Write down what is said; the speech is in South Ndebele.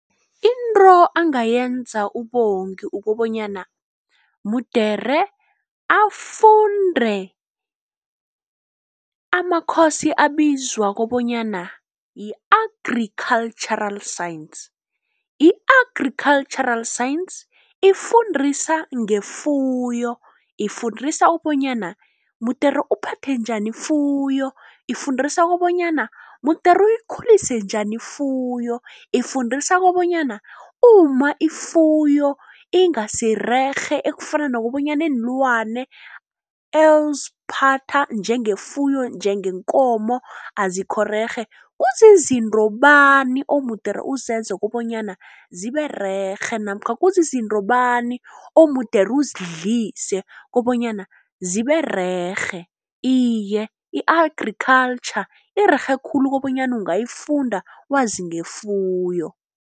Into angayenza uBongi ukobanyana mude afunde amakhosi abizwa kobonyana yi-agri cultural science. I-agricultural science ifundisa ngefuyo, ifundisa ukobonyana mudele uphathe njani ifuyo. Ifundisa kobonyana mude uyikhulise njani ifuyo, ifundisa kobonyana u ma ifuyo ingasirerhe ekufana nokobanyana iinlwane eziphatha njengefuyo njengeenkomo azikhorerhe kuzizinto bani omude uzenze kobonyana ziberega rerhe namkha kuzizinto bani omude uzidlise kobanyana zibererhe. Iye i-agriculture irerhe khulu kobanyana ungayifunda wazi ngefuyo.